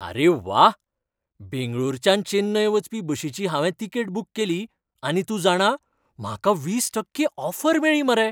आरे व्वा! बेंगळुरच्यान चेन्नय वचपी बशीची हांवें तिकेट बूक केली, आनी तूं जाणा, म्हाका वीस टक्के ऑफर मेळ्ळी मरे.